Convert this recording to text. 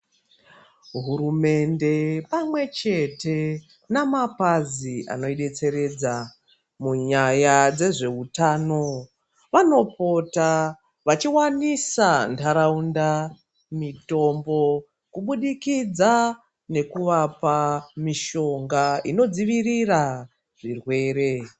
Hurumende pamwe chete namapazi anobetseredza munyaya dzezvehutano. Vanopota vachivanisa nharaunda mitombo kubudikidza nekuvapa mishonga inodzivirira zvirwere.